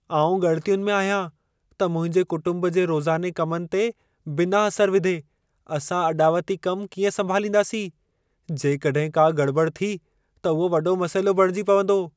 आउं ॻणितियुनि में आहियां त मुंहिंजे कुटुंब जे रोज़ाने कमनि ते बिना असर विधे, असां अॾावती कमु कीअं संभालींदासीं। जेकॾहिं का गड़िॿड़ि थी, त उहो वॾो मसइलो बणिजी पवंदो।